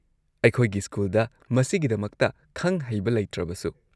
ꯑꯩꯈꯣꯏꯒꯤ ꯁ꯭ꯀꯨꯜꯗ ꯃꯁꯤꯒꯤꯗꯃꯛꯇ ꯈꯪ-ꯍꯩꯕ ꯂꯩꯇ꯭ꯔꯕꯁꯨ꯫